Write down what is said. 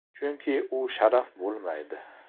Chunki u sharaf bo‘lmaydi.